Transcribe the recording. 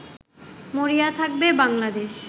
মরিয়া থাকবে বাংলাদেশ